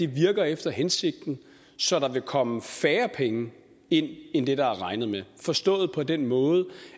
virker efter hensigten så der vil komme færre penge ind end det der er regnet med forstået på den måde